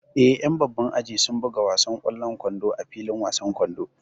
Eh, ƴan babban aji sun buga wasan ƙwallon kwando a filin wasan kwando